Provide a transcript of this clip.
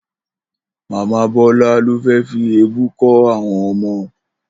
Màmá Bó̩là ló fi èébú kó̩ àwo̩n o̩mo